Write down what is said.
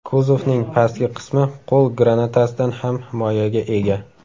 Kuzovning pastki qismi qo‘l granatasidan ham himoyaga ega.